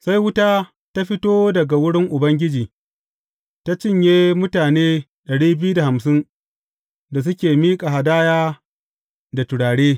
Sai wuta ta fito daga wurin Ubangiji ta cinye mutane dari biyu da hamsin da suke miƙa hadaya da turare.